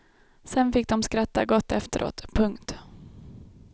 Sen fick de skratta gott efteråt. punkt